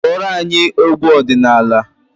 Gụọra anyị egwu ọdịnala!